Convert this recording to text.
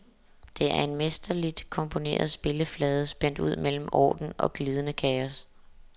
Det er en mesterligt komponeret spilleflade, spændt ud mellem orden og glidende kaos.